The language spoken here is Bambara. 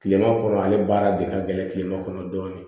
Kilema kɔnɔ ale baara de ka gɛlɛn kilema kɔnɔ dɔɔnin